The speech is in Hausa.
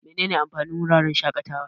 Menene amfanin wuraren shaƙatawa?